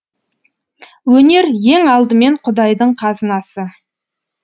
өнер ең алдымен құдайдың қазынасы